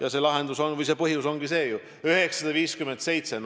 Aga põhjus ongi ju see: 957 muudatusettepanekut.